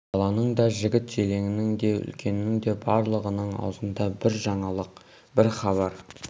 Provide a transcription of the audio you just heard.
баланың да жігіт-желіңнің де үлкеннің де барлығының аузында бір жаңалық бір хабар